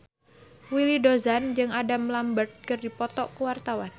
Willy Dozan jeung Adam Lambert keur dipoto ku wartawan